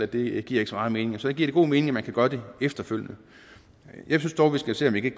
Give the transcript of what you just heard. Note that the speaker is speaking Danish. det giver ikke så meget mening og så giver det god mening at man kan gøre det efterfølgende jeg synes dog vi skal se om vi